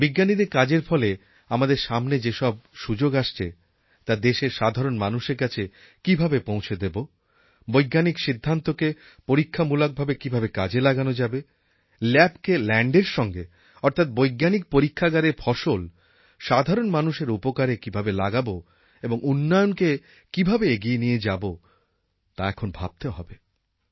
বিজ্ঞানীদের কাজের ফলে আমাদের সামনে যে সব সুযোগ আসছে তা দেশের সাধারণ মানুষের কাছে কীভাবে পৌঁছে দেব বৈজ্ঞানিক সিদ্ধান্তকে পরীক্ষামূলকভাবে কীভাবে কাজে লাগানো যাবে ল্যাবকে ল্যাণ্ডের সঙ্গে অর্থাৎ বৈজ্ঞানিক পরিক্ষাগারের ফসল সাধারণ মানুষের উপকারে কীভাবে লাগাবো এবং উন্নয়নকে কীভাবে এগিয়ে নিয়ে যাব তা এখন ভাবতে হবে